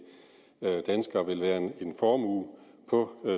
danskere vil være en formue på